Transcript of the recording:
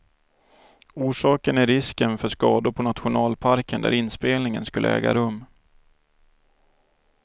Orsaken är risken för skador på nationalparken där inspelningen skulle äga rum.